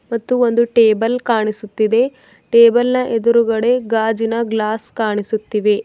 ಮತ್ತು ಒಂದು ಟೇಬಲ್ ಕಾಣಿಸುತ್ತಿದೆ ಟೇಬಲ್ ನ ಎದುರುಗಡೆ ಗಾಜಿನ ಗ್ಲಾಸ್ ಕಾಣಿಸುತ್ತಿವೆ.